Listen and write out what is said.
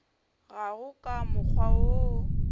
ga go ka mokgwa wo